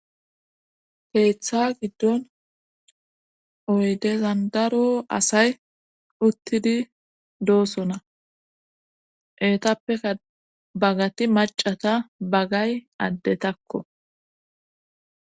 Keeththa giddon oydezan daro asay uttidi doosona etappeka bagati macata bagay addetakko.